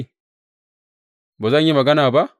Ba zan ma yi magana ba?